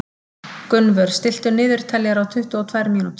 Gunnvör, stilltu niðurteljara á tuttugu og tvær mínútur.